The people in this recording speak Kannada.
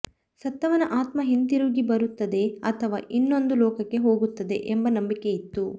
ಸತ್ತವನ ಆತ್ಮ ಹಿಂತಿರುಗಿ ಬರುತ್ತದೆ ಅಥವಾ ಇನ್ನೊಂದು ಲೋಕಕ್ಕೆ ಹೋಗುತ್ತದೆ ಎಂಬ ನಂಬಿಕೆಯಿತ್ತು